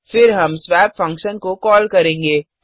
फिर हम swap function को कॉल करेंगे